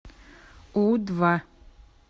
у два